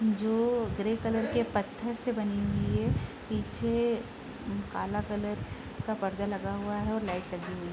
जो grey colour के पत्थर से बनी हुई है पीछे काला कलर का पर्दा लगा हुआ है और लाइट लगी हुई --